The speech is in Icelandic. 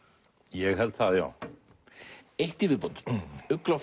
ég held það já eitt í viðbót ugla